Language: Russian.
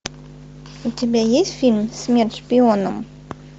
у тебя есть фильм смерть шпионам